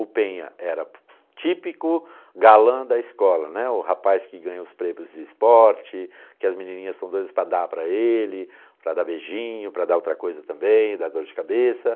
O Penha era típico galã da escola, né, o rapaz que ganha os prêmios de esporte, que as menininhas são doidas para dar para ele, para dar beijinho, para dar outra coisa também, dar dor de cabeça.